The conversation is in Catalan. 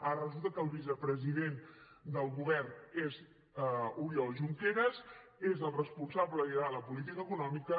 ara resulta que el vicepresident del govern és oriol junqueras és el responsable de lligar la política econòmica